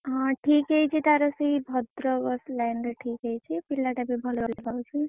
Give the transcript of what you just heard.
ହଁ ଠିକ୍‌ ହେଇଛି ତାର ସେଇ ଭଦ୍ରକ line ରେ ଠିକ୍‌ ହେଇଛି ପିଲାଟା ବି ଭଲ ଦେଖା ଯାଉଛି।